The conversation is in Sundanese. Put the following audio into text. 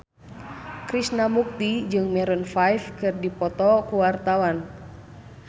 Krishna Mukti jeung Maroon 5 keur dipoto ku wartawan